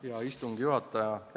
Hea istungi juhataja!